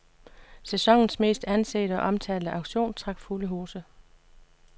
Sæsonens mest ansete og omtalte auktion trak fulde huse.